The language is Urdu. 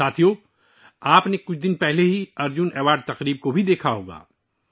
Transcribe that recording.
ساتھیو، آپ نے ابھی کچھ دن پہلے ہی ارجن ایوارڈ کی تقریب دیکھی ہوگی